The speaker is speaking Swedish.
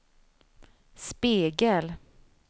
spegel